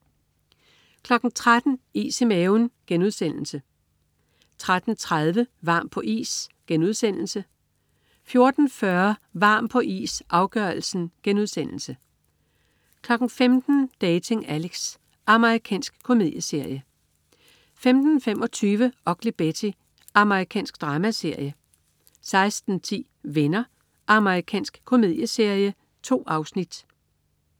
13.00 Is i maven* 13.30 Varm på is* 14.40 Varm på is, afgørelsen* 15.00 Dating Alex. Amerikansk komedieserie 15.25 Ugly Betty. Amerikansk dramaserie 16.10 Venner. Amerikansk komedieserie. 2 afsnit